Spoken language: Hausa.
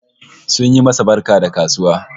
Sun yi masa barka da kasuwa